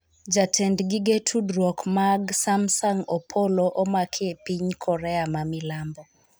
Jatend gige tudruok mag Samsung Opolo omaki e piny Korea ma milambo